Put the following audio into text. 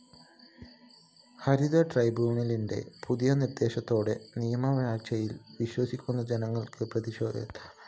ഹരിതട്രൈബ്യൂണലിന്റെ പുതിയ നിര്‍ദ്ദേശത്തോടെ നിയമവാഴ്ചയില്‍ വിശ്വസിക്കുന്ന ജനങ്ങള്‍ക്ക് പ്രതീക്ഷയേറുകയാണ്